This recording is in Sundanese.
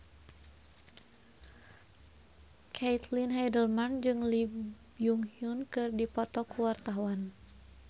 Caitlin Halderman jeung Lee Byung Hun keur dipoto ku wartawan